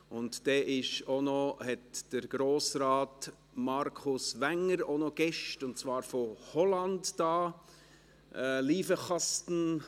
Und dann hat Grossrat Markus Wenger Gäste aus Holland zu Besuch: